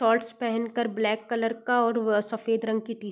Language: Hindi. शॉर्ट्स पेहेन कर ब्लैक कलर का और व सफ़ेद रंग की टी --